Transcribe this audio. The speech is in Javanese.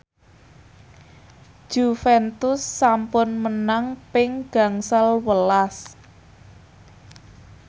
Juventus sampun menang ping gangsal welas